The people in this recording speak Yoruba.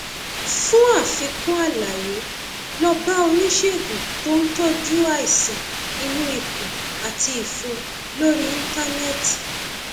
fún àfikún àlàyé lọ bá oníṣègùn tó ń tọjú àìsàn inú ikùn àti ìfun lórí íńtánẹẹtì